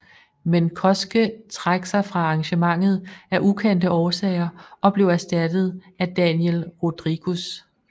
Men Cosce træk sig fra arrangementet af ukendte årsager og blev erstattet af Daniel Rodriguez